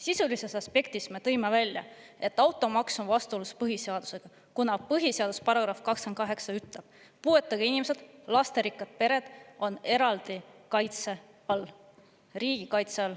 Sisulises aspektis me tõime välja, et automaks on vastuolus põhiseadusega, kuna põhiseaduse § 28 ütleb, et puuetega inimesed ja lasterikkad pered on eraldi kaitse all, riigi kaitse all.